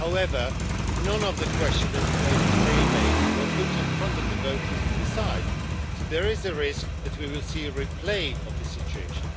However, none of the questions that caused stalemate were put to the voters to decide, so there is a risk that we will see a replay of this situation.